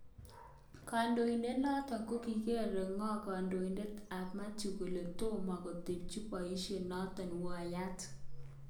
Kondoidet noton kokiger'ngog kandoinatet tab Mathew kole tomo kotebchi boisho noton wunyat.